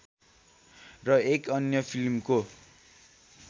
र एक अन्य फिल्मको